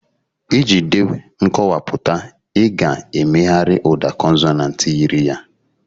Iji dee nkọwapụta, ị ga-emegharị ụda consonant yiri ya